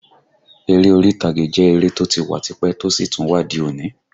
Ère orí ìtàgé jẹ́ eré tó ti wà tipẹ́ tó sì tún wà di òní